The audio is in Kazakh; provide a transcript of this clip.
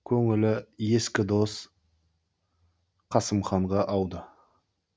көңілі ескі дос қасым ханға ауды